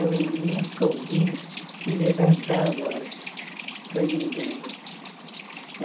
Eu nunca ouvi levantar a voz para ninguém.